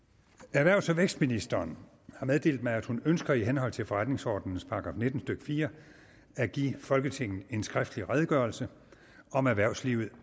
erhvervs og vækstministeren har meddelt mig at hun ønsker i henhold til forretningsordenens § nitten stykke fire at give folketinget en skriftlig redegørelse om erhvervslivet